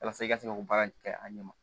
Walasa i ka se ka o baara in kɛ a ɲɛ ma